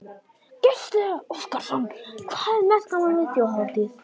Gísli Óskarsson: Hvað er mest gaman við Þjóðhátíð?